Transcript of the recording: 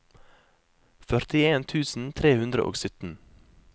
førtien tusen tre hundre og sytten